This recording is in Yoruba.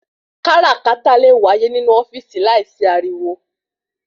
Káràkátà le wáyé ni inú ofíìsì láì sí ariwo